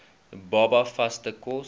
baba vaste kos